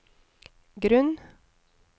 grunn